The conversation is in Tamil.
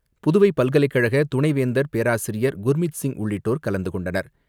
புதுவை பல்கலைக்கழக துணை வேந்தர் பேராசிரியர் குர்மித் சிங் உள்ளிட்டோர் கலந்துகொண்டனர்.